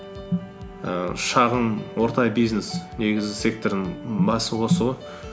ііі шағын орта бизнес негізгі сектордың басы осы ғой